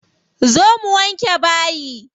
Zo mu wanke bayi.